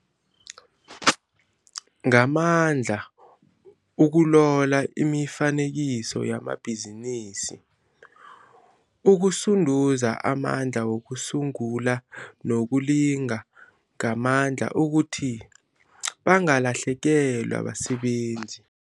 Ngamandla ukulola imifanekiselo yamabhizinisi, ukusunduza amandla wokusungula nokulinga ngamandla ukuthi bangalahlekelwa basebenzi.